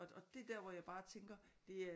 Og det er der hvor jeg bare tænker det er